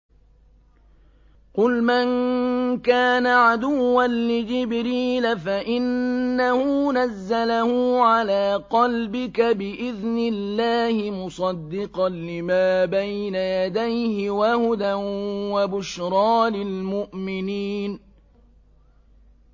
قُلْ مَن كَانَ عَدُوًّا لِّجِبْرِيلَ فَإِنَّهُ نَزَّلَهُ عَلَىٰ قَلْبِكَ بِإِذْنِ اللَّهِ مُصَدِّقًا لِّمَا بَيْنَ يَدَيْهِ وَهُدًى وَبُشْرَىٰ لِلْمُؤْمِنِينَ